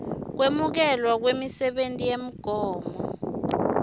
kwemukelwa kwemisebenti yegmo